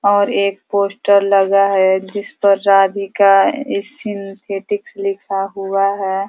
और एक पोस्टर लगा है जिसपर राधिका सिंथेटिक्स लिखा हुआ है।